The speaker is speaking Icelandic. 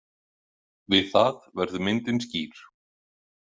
Við það verður myndin skýr.